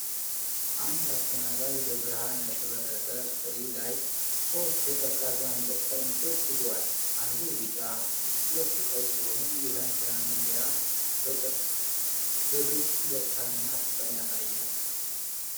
አንድ አስተናጋጅ በብርሃን ያሸበረቀ ትሪ ላይ ሦስት የቀዝቃዛ መጠጥ ጠርሙሶች ይዟል። አንዱ ቢጫ፣ ሁለቱ ቀይ ሲሆኑ፣ የዳንኪራ መለያ በግልጽ ደስታንና ፍቅርን ያሳያል።